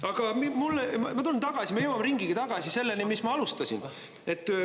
Aga ma tulen tagasi, me jõuame ringiga tagasi selleni, millest ma alustasin.